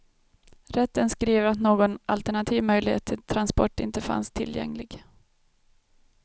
Rätten skriver att någon alternativ möjlighet till transport inte fanns tillgänglig.